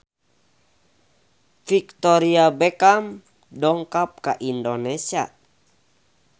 Victoria Beckham dongkap ka Indonesia